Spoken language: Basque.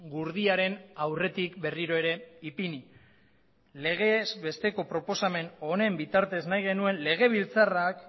gurdiaren aurretik berriro ere ipini legez besteko proposamen honen bitartez nahi genuen legebiltzarrak